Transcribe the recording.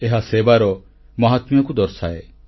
ଏହା ସେବାର ମାହାତ୍ମ୍ୟକୁ ଦର୍ଶାଏ